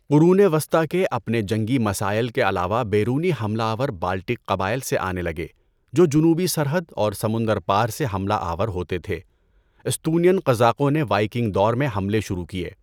قرونِ وسطٰی کے اپنے جنگی مسائل کے علاوہ بیرونی حملہ آور بالٹک قبائل سے آنے لگے جو جنوبی سرحد اور سمندر پار سے حملہ آور ہوتے تھے۔ استونین قذاقوں نے وائکنگ دور میں حملے شروع کیے۔